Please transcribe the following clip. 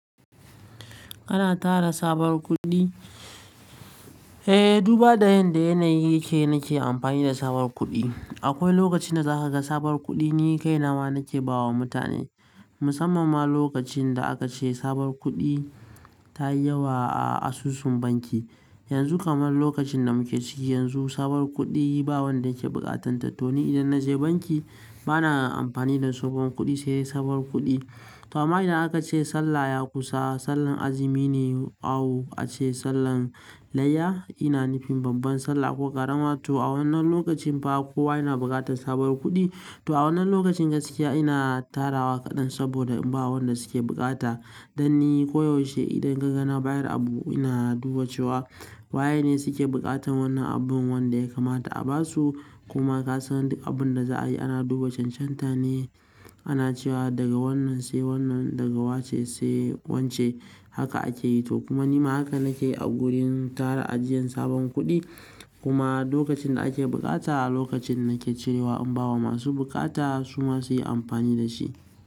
Kana tara sabuwar kuɗi? Eh, duba da yadda yanayi yake nake amfani da sabuwar kuɗi. Akwai lokacin da za ka ga sabuwar kuɗi ni kai nama nake ba wa mutane. Musamman ma lokacin da aka ce sabuwar kuɗi ta yi yawa a asusun banki. Yanzu kamar lokacin da muke ciki yanzu, sabuwar kuɗi ba wanda yake buƙatanta. To ni idan na je banki bana amfani da tsohon kuɗi, sai sabuwar kuɗi. To amma idan aka ce sallah ya kusa, sallan azumi ne, awu aka ce sallan layya, ina nufin babban sallah ko ƙarama. To a wannan lokacin fa kowa yana buƙatar sabuwar kuɗi. To a wannan lokacin gaskiya-- ina tara wa kaɗan saboda in ba wa wanda suke bukata. Dan ni koyaushe idan ka gana bayar abu ina duba cewa wa yene wanda suke buƙatar wannan abun wanda ya kamata a ba su. Kuma ka san duk abin da za a yi ana duba cancanta ne. Ana cewa daga wannan sai wannan, daga wace sai wacce, haka ake yi. To kuma nima haka nake a gurin tara ajiyan sabon kuɗi. Kuma lokacin da ake bukata a lokacin nake cirewa in ba wa masu bukata su ma su yi amfani da shi.